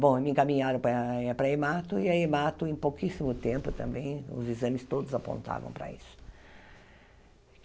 Bom, me encaminharam para para a Emato, e a Emato em pouquíssimo tempo também, os exames todos apontavam para isso.